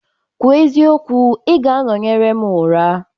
Kwuo eziokwu, ị ga-anọnyere m ụra?